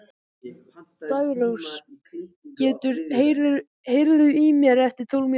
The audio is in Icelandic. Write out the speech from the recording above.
Daggrós, heyrðu í mér eftir tólf mínútur.